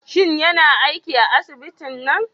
Shin yana aiki a asibitin nan?